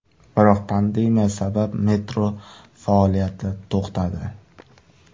Biroq pandemiya sabab metro faoliyati to‘xtadi.